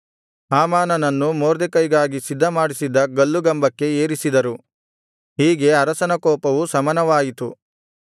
ಹಾಮಾನನನ್ನು ಮೊರ್ದೆಕೈಗಾಗಿ ಸಿದ್ಧಮಾಡಿಸಿದ್ದ ಗಲ್ಲುಗಂಬಕ್ಕೆ ಏರಿಸಿದರು ಹೀಗೆ ಅರಸನ ಕೋಪವೂ ಶಮನವಾಯಿತು